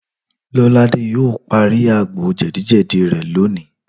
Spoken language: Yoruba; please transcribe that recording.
Lọ́ládé yóò parí àgbo jẹ̀díjẹ̀dí rẹ̀ lónìí